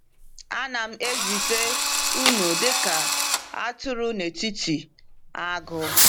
“Anam ezite unu dị ka atụrụ n’etiti agụ.”